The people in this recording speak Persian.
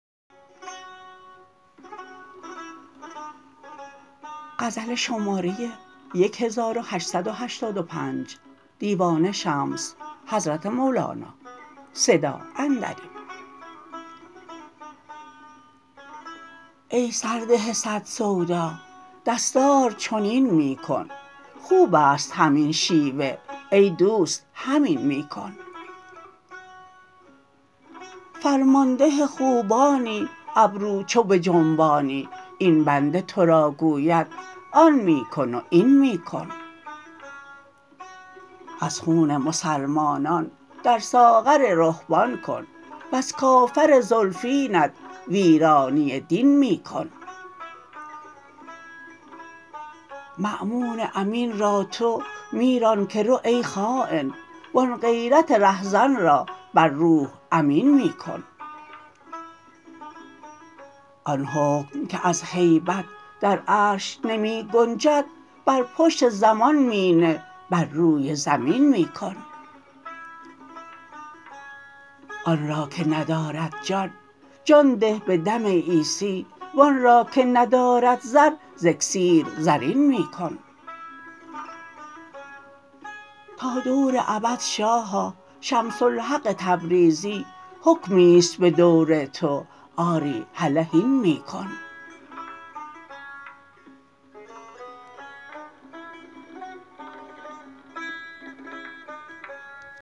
ای سرده صد سودا دستار چنین می کن خوب است همین شیوه ای دوست همین می کن فرمانده خوبانی ابرو چو بجنبانی این بنده تو را گوید آن می کن و این می کن از خون مسلمانان در ساغر رهبان کن وز کافر زلفینت ویرانی دین می کن مأمون امین را تو می ران که رو ای خاین وان غیرت رهزن را بر روح امین می کن آن حکم که از هیبت در عرش نمی گنجد بر پشت زمان می نه بر روی زمین می کن آن را که ندارد جان جان ده به دم عیسی وان را که ندارد زر ز اکسیر زرین می کن تا دور ابد شاها شمس الحق تبریزی حکمی است به دور تو آری هله هین می کن